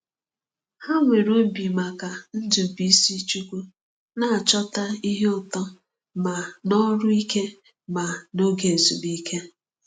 Ha nwere obi maka Ndubuisichukwu, na-achọta ihe ụtọ ma n’ọrụ ike ma n’oge ezumike.